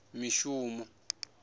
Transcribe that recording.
mishumo